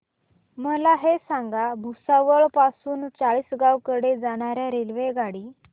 मला हे सांगा भुसावळ पासून चाळीसगाव कडे जाणार्या रेल्वेगाडी